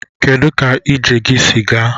Kedụ ka ije gị si gaa?